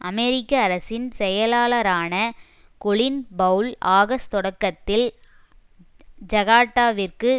அமெரிக்க அரசின் செயலாளரான Colin Powell August தொடக்கத்தில் ஜகாட்டாவிற்கு